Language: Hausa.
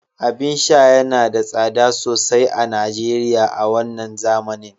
abin sha yana da tsada sosai a Najeriya a wannan zamanin